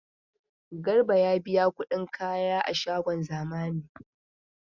Garba ya biya kudin kaya a shagon zamani.